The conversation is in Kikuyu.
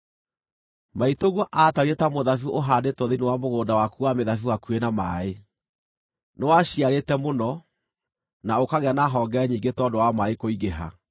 “ ‘Maitũguo aatariĩ ta mũthabibũ ũhaandĩtwo thĩinĩ wa mũgũnda waku wa mĩthabibũ hakuhĩ na maaĩ; nĩwaciarĩte mũno, na ũkagĩa na honge nyingĩ tondũ wa maaĩ kũingĩha.